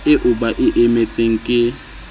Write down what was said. eo ba e emetseng ke